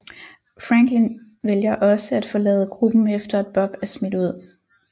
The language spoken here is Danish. Franklin vælger også at forlade gruppen efter at Bob er smidt ud